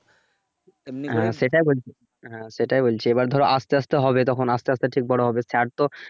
সেটাই সেটাই বলছি এবার ধরো আস্তে আস্তে হবে তখন আস্তে আস্তে ঠিক বড় হবে sir তো।